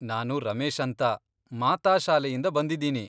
ನಾನು ರಮೇಶ್ ಅಂತ, ಮಾತಾ ಶಾಲೆಯಿಂದ ಬಂದಿದ್ದೀನಿ.